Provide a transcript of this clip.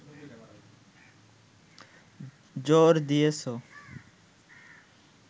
জোর দিয়েছ